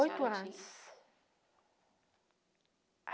Oito anos.